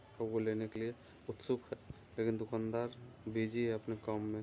और वो लेने के लिए उत्सुक है लेकिन दुकनदार बिजी है अपने काम में।